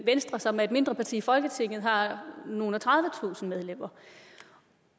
venstre som er et mindre parti i folketinget har nogle og tredivetusind medlemmer